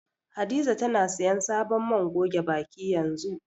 Hadiza tana siyan sabon man goge baki yanzu.